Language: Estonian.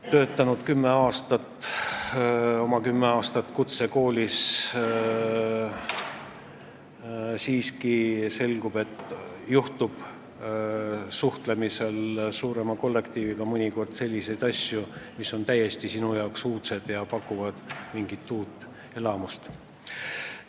Töötanud oma kümme aastat kutsekoolis, näen ma ikka veel, et suuremas kollektiivis suheldes juhtub mõnikord selliseid asju, mis pakuvad uudset elamust.